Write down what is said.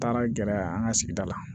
Taara gɛrɛ an ka sigida la